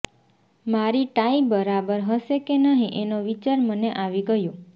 મારી ટાઈ બરાબર હશે કે નહીં એનો વિચાર મને આવી ગયો